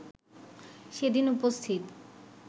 সেদিন উপস্থিত